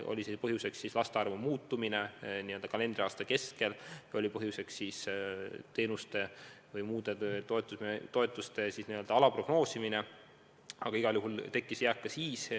Oli siis põhjuseks laste arvu muutumine kalendriaasta kestel või teenuste ja muude toetuste vale prognoosimine, aga igal juhul tekkis jääk ka siis.